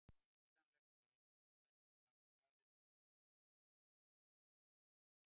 Hugsanlegt er einnig að aðrir sem hafa staðið að röngum tilkynningum geti orðið ábyrgir.